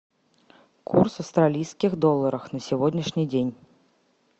курс австралийских долларов на сегодняшний день